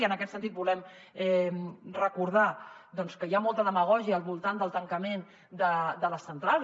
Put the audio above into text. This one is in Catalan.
i en aquest sentit volem recordar doncs que hi ha molta demagògia al voltant del tancament de les centrals